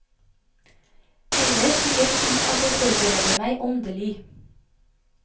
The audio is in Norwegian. Ellers vil jeg si at jeg forbereder meg åndelig.